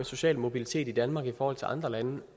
social mobilitet i danmark i forhold til andre lande